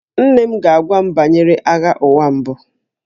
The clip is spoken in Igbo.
Nne m ga-agwa m banyere Agha Ụwa Mbụ